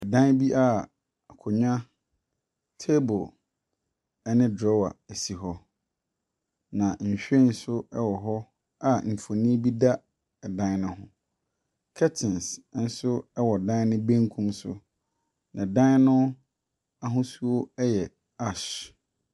Dan bi a akonnwa, table, ne drawer si hɔ. Na nhwiren nso wɔ hɔ a mfonin bi da ɛdan no ho. Curtains nso wɔ dan no benkum so, na dan no ahosuo yɛ ash.